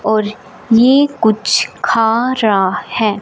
और ये कुछ खा रहा है।